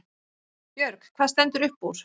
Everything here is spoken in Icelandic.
Björg: Hvað stendur upp úr?